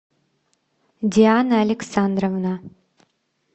диана александровна